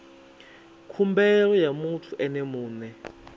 khumbelo ya muthu ene mue